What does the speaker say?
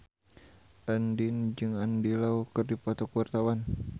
Andien jeung Andy Lau keur dipoto ku wartawan